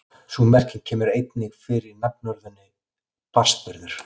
Sú merking kemur einnig fyrir í nafnorðinu barnsburður.